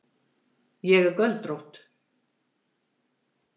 Ég er göldrótt.